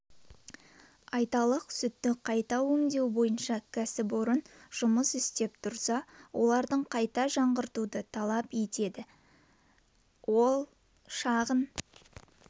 айталық сүтті қайта өңдеу бойынша кәсіпорын жұмыс істеп тұрса олардың қайта жаңғыртуды талап етеді ал шағын